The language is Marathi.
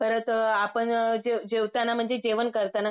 परत आपण जेवताना म्हणजे जेवण करताना